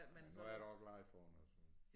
Men nu er ja da også glad for den og sådan